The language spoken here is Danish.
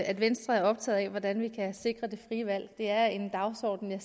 at venstre er optaget af hvordan vi kan sikre det frie valg det er en dagsorden jeg